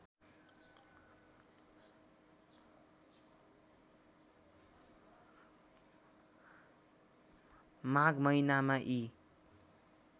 माघ महिनामा यी